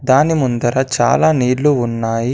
దాని ముందర చాలా నీళ్లు ఉన్నాయి.